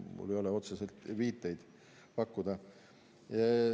Kahjuks mul ei ole otseseid viiteid pakkuda.